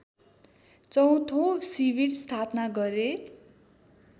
चौँथो शिविर स्थापना गरे